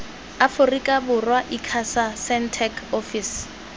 aforika borwa icasa sentech ofisi